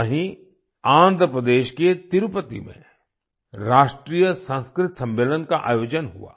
वहीँ आंध्र प्रदेश के तिरुपति में राष्ट्रीय संस्कृत सम्मलेन का आयोजन हुआ